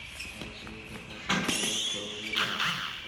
ma ii sheegi kartaa sidaan jawaabta u heli lahaa